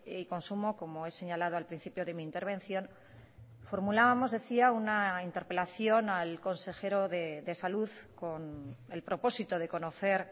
y consumo como he señalado al principio de mi intervención formulábamos decía una interpelación al consejero de salud con el propósito de conocer